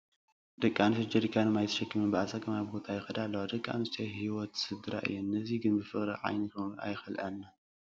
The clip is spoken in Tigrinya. ደቂ ኣንስትዮ ጀሪካን ማይ ተሸኪመን ብኣፀጋሚ ቦታ ይኸዳ ኣለዋ፡፡ ደቂ ኣንስትዮ ህይወት ስድራ እየን፡፡ ነዚ ግን ብፍቕሪ ዓይኒ ክንኦ ኣይከኣልናን፡፡